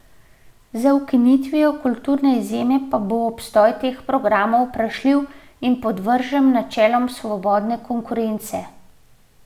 Z ukinitvijo kulturne izjeme pa bo obstoj teh programov vprašljiv in podvržen načelom svobodne konkurence.